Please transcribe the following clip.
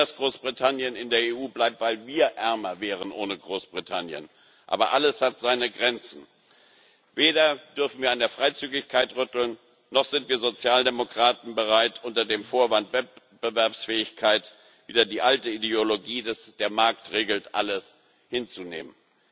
Wir wollen, dass Großbritannien in der EU bleibt, weil wir ohne Großbritannien ärmer wären. Aber alles hat seine Grenzen Weder dürfen wir an der Freizügigkeit rütteln, noch sind wir Sozialdemokraten bereit, unter dem Vorwand der Wettbewerbsfähigkeit wieder die alte Ideologie, dass der Markt alles regelt, hinzunehmen.